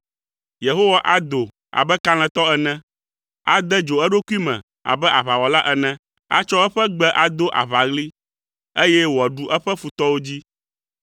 Yehowa ado abe kalẽtɔ ene. Ade dzo eɖokui me abe aʋawɔla ene. Atsɔ eƒe gbe ado aʋaɣli, eye wòaɖu eƒe futɔwo dzi.